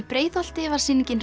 Breiðholti var sýningin